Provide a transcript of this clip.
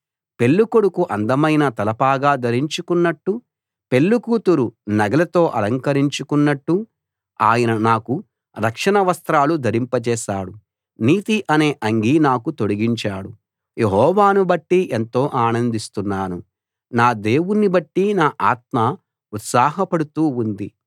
పెళ్ళికొడుకు అందమైన తలపాగా ధరించుకున్నట్టు పెళ్ళికూతురు నగలతో అలంకరించుకున్నట్టు ఆయన నాకు రక్షణ వస్త్రాలు ధరింపచేశాడు నీతి అనే అంగీ నాకు తొడిగించాడు యెహోవాను బట్టి ఎంతో ఆనందిస్తున్నాను నా దేవుణ్ణి బట్టి నా ఆత్మ ఉత్సాహపడుతూ ఉంది